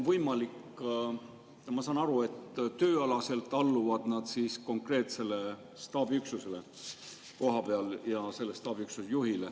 Ma saan aru, et tööalaselt alluvad nad konkreetsele kohapealsele staabiüksusele ja selle staabiüksuse juhile.